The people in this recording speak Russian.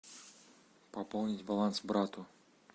пополнить баланс брату